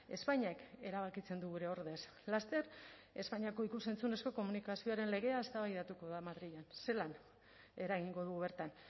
espainiak erabakitzen du gure ordez laster espainiako ikus entzunezko komunikazioaren legea eztabaidatuko da madrilen zelan eragingo dugu bertan